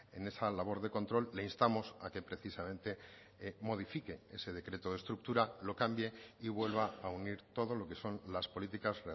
en esa labor de control le instamos a que precisamente modifique ese decreto de estructura lo cambie y vuelva a unir todo lo que son las políticas